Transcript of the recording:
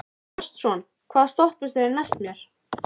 Gaston, hvaða stoppistöð er næst mér?